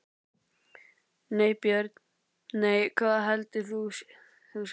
nei Börn: nei Hvað eldaðir þú síðast?